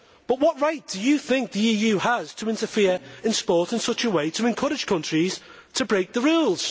What right do you think the EU has to interfere in sport in such a way to encourage countries to break the rules?